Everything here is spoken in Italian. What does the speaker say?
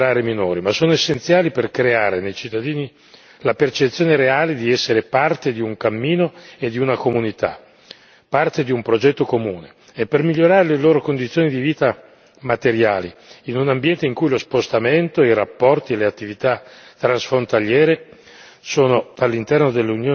Questi temi possono sembrare minori, ma sono essenziali per creare nei cittadini la percezione reale di essere parte di un cammino e di una comunità, parte di un progetto comune e per migliorare le loro condizioni di vita materiali in un ambiente in cui lo spostamento, i rapporti e le attività transfrontaliere